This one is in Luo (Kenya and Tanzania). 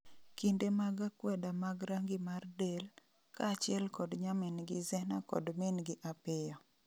kinde mag akweda mag rangi mar del, kaachiel kod nyamin'gi Zena kod min gi apiyo